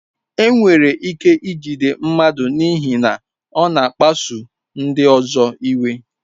Enwere ike ijide mmadụ n'ihi na ọ na-akpasu ndị ọzọ iwe.